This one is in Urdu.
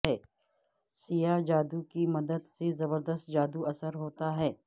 سیاہ جادو کی مدد سے زبردست جادو اثر ہوتا ہے